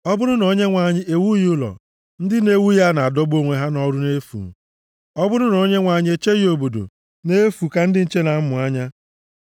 Ọ bụrụ na Onyenwe anyị ewughị ụlọ, ndị na-ewu ya na-adọgbu onwe ha nʼọrụ nʼefu. Ọ bụrụ na Onyenwe anyị echeghị obodo, nʼefu ka ndị nche na-amụ anya.